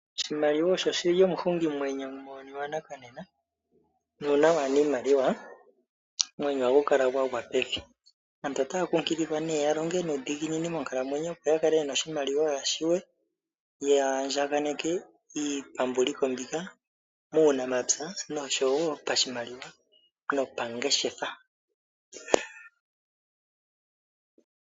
Oshimaliwa osho shili omuhungi mwenyo muuyuni wanakanena , nuuna waana iimaliwa omwenyo agukala gwagwa pevi, aantu otaya kunkililwa nee yalonge nuudhiginini moonkalamwenyo opo yakale yena oshimaliwa yashiwe, yaandjaganeke iitambuliko mbika muunamapya noshowo pashimaliwa, no pangeshefa